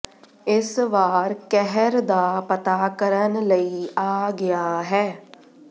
ਇਸ ਵਾਰ ਕਹਿਰ ਦਾ ਪਤਾ ਕਰਨ ਲਈ ਆ ਗਿਆ ਹੈ